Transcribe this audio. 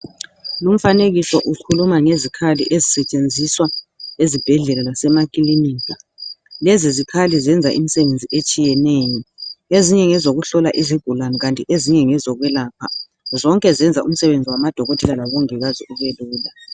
Lumfanekiso ukhuluma ngezikhali ezisetshenziswa ezibhedlela lasemakilinika lezi zikhali zenza imsebenzi etshiyeneyo, ezinye ngezokuhlola izigulane kanti ezinye ngezokwelapha zonke zenza umsebenzi wamadokotela labomongikazi ube lula.